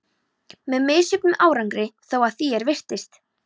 Með misjöfnum árangri þó, að því er virtist.